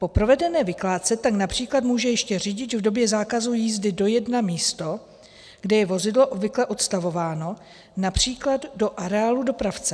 Po provedené vykládce tak například může ještě řidič v době zákazu jízdy dojet na místo, kde je vozidlo obvykle odstavováno, například do areálu dopravce.